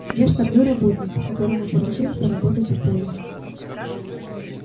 я штабной работник которому поручили поработать в поле